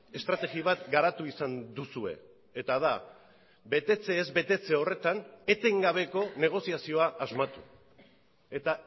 estrategia bat garatu izan duzue eta da betetze ez betetze horretan etengabeko negoziazioa asmatu eta